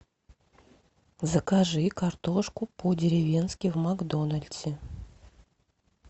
закажи картошку по деревенски в макдональдсе